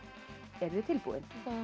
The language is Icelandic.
eruð þið tilbúin